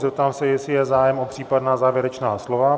Zeptám se, jestli je zájem o případná závěrečná slova?